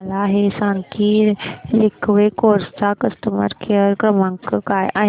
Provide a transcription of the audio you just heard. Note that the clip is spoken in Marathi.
मला हे सांग की लिंकवे कार्स चा कस्टमर केअर क्रमांक काय आहे